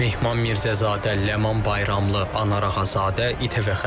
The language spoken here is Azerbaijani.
Mehman Mirzəzadə, Ləman Bayramlı, Anar Ağazadə - İTV Xəbər.